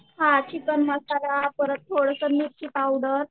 हां चिकन मसाला परत थोडंसं मिरची पावडर